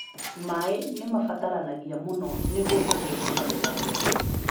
Maĩ nĩ mabataranagia mũno nĩguo magĩe na magetha mega